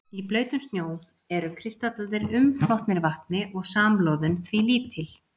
Í blautum snjó eru kristallarnir umflotnir vatni og samloðun því lítil.